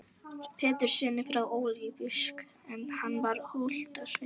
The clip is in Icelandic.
Péturssyni frá Ólafsvík en hann var holdsveikur.